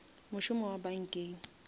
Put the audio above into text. mošomo wa bankeng